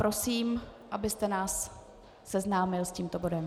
Prosím, abyste nás seznámil s tímto bodem.